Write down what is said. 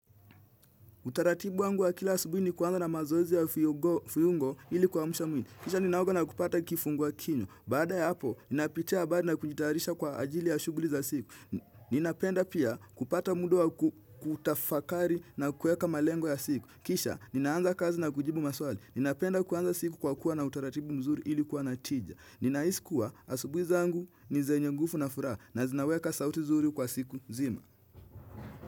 Utaratibu wangu wa kila asubui ni kuanza na mazoezi ya fiungo ili kiamsha mwili. Kisha ninaoga na kupata kifungua kinywa. Baada ya hapo, ninayapitia habari na kujitayarisha kwa ajili ya shuguli za siku. Ninapenda pia kupata muda wa kutafakari na kuweka malengo ya siku. Kisha, ninaanza kazi na kujibu maswali. Ninapenda kuanza siku kwa kuwa na utaratibu mzuri ili kuwa natija. Ninahisi kuwa asubui zangu ni zenye ngufu na furaha na zinaweka sauti zuri kwa siku zima.